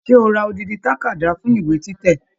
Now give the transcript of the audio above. Ṣe o ra odidi takada fún ìwé títẹ̀?